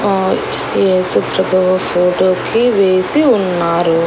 ఆహ్ యేసుప్రభువు ఫోటో కి వేసి ఉన్నారు.